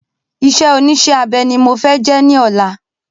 Isé onísé abe ni mo fẹ jẹ ní ọ̀la